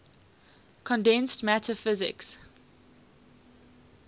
condensed matter physics